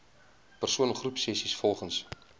persoon groepsessies volgens